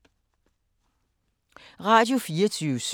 Radio24syv